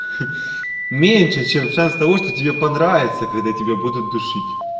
ха меньше чем в садоводстве тебе понравится когда тебя будут душить